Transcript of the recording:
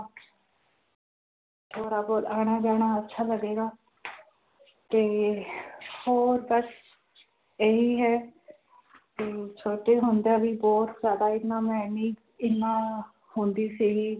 ਥੋੜ੍ਹਾ ਬਹੁਤ ਆਉਣਾ ਜਾਣਾ ਅੱਛਾ ਲੱਗੇਗਾ ਤੇ ਹੋਰ ਬਸ ਇਹੀ ਹੈ ਤੇ ਛੋਟੇ ਹੁੰਦਿਆਂ ਵੀ ਬਹੁਤ ਜ਼ਿਆਦਾ ਇੰਨਾ ਮੈਂ ਨਹੀਂ ਇੰਨਾ ਹੁੰਦੀ ਸੀਗੀ